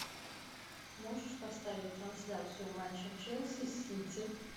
можешь поставить трансляцию матча челси с сити